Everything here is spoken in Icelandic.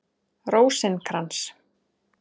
Rósinkrans